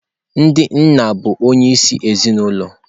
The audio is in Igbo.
Ndị nna bụ onyeisi ezinụlọ.